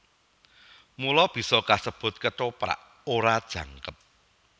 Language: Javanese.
Mula bisa kasebut Kethoprak ora jangkep